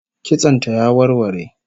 Kitson ta ya warware